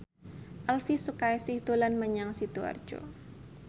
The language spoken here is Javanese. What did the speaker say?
Elvi Sukaesih dolan menyang Sidoarjo